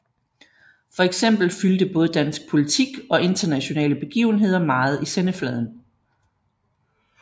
Fx fyldte både dansk politik og internationale begivenheder meget i sendefladen